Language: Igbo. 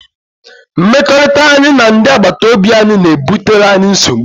Mmekọrịta anyị na ndị agbataobi anyị na-ebutere anyị nsogbu.